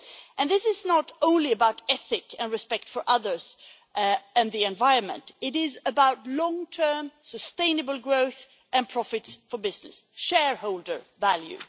And this is not only about ethics and respect for others and the environment, it is about long term sustainable growth and profits for business shareholder value.